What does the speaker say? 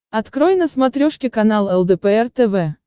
открой на смотрешке канал лдпр тв